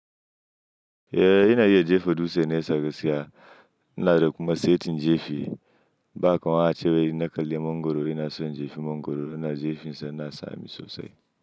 Eh ina iya jefa dutse nasa gaskiya. Ina da kuma saitin jefi. Ba kamar wancan cewar ina kalli mangoro, ina soya jefi mangoro, ina da jefinsa ina sani sosai.